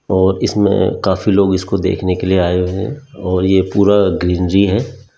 और इसमें काफी लोग इसको देखने के लिए आए हुए हैं और यह पूरा ग्रीनरी है।